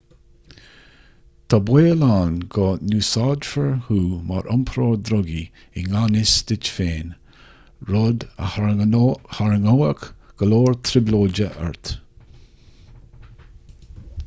tá an baol ann go n-úsáidfear thú mar iompróir drugaí i ngan fhios duit féin rud a tharraingeodh go leor trioblóide ort